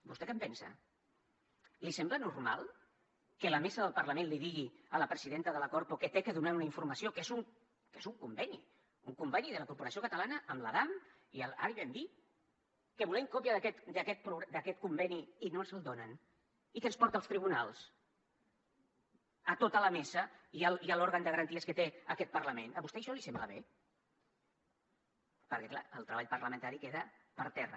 vostè què en pensa li sembla normal que la mesa del parlament li digui a la presidenta de la corpo que ha de donar una informació que és un conveni un conveni de la corporació catalana amb la damm i l’airbnb que volem còpia d’aquest conveni i no ens el donin i que ens porti als tribunals a tota la mesa i a l’òrgan de garantia que té aquest parlament a vostè això li sembla bé perquè clar el treball parlamentari queda per terra